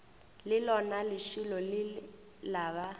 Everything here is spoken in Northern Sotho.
le lona lešilo lela ba